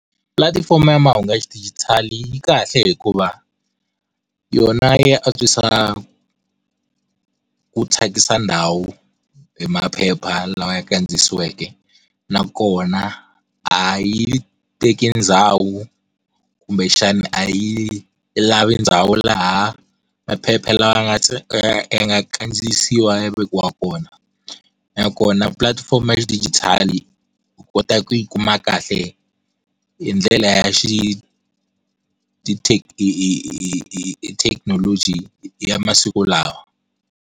Pulatifomo ya mahungu ya xidijitali yi kahle hikuva, yona yi antswisa ku thyakisa ndhawu, hi maphepha lawa ya kandziyisiweke. Nakona a yi teki ndhawu, kumbexani a yi lavi ndhawu laha maphepha lawa nga ya nga kandziyisiwa ya vekiwa kona. Nakona pulatifomo ya xidijitali, u kota ku yi kuma kahle, hi ndlela ya xi hi hi hi hi hi thekinoloji ya masiku lawa.